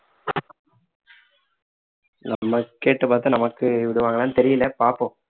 நம்ம கேட்டு பார்த்தா நமக்கு விடுவாங்களான்னு தெரியல பார்ப்போம்